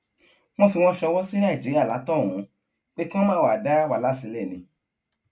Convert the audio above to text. wọn fi wọn sọwọ sí nàìjíríà látohunún pé kí wọn máà wáá dá wàhálà sílẹ ni